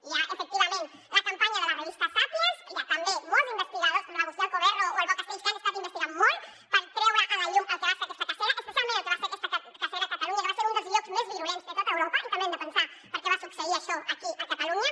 hi ha efectivament la campanya de la revista sàpiens hi ha també molts investigadors com l’agustí alcoberro o el pau castells que han estat investigant molt per treure a la llum el que va ser aquesta cacera especialment el que va ser aquesta cacera a catalunya que va ser un dels llocs més virulents de tota europa i també hem de pensar per què va succeir això aquí a catalunya